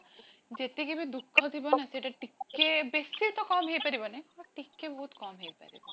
ଯେତିକି ବି ଦୁଖଥିବ ନା ସେଟା ଟିକେ, ବେଶୀ ତ କମ ହେଇ ପାରିବନି but ଟିକେ ବହୁତ କମ ହେଇ ପାରିବ